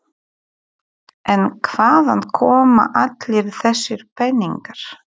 En hvaðan koma allir þessir peningar?